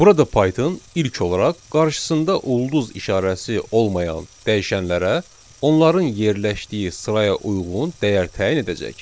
Burada Python ilk olaraq qarşısında ulduz işarəsi olmayan dəyişənlərə onların yerləşdiyi sıraya uyğun dəyər təyin edəcək.